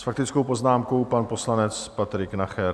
S faktickou poznámkou pan poslanec Patrik Nacher.